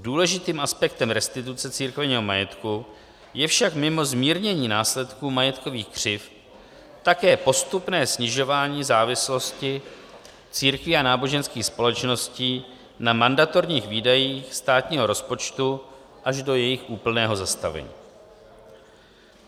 Důležitým aspektem restituce církevního majetku je však mimo zmírnění následků majetkových křivd také postupné snižování závislosti církví a náboženských společností na mandatorních výdajích státního rozpočtu až do jejich úplného zastavení.